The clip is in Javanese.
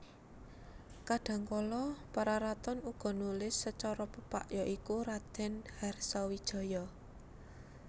Kadhangkala Pararaton uga nulis sacara pepak ya iku Raden Harsawijaya